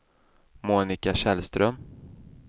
Monika Källström